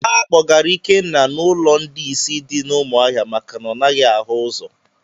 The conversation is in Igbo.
A kpọgara Ikenna n'ụlọ ndị ìsì dị na umuahia maka na ọ naghị ahụ ụzọ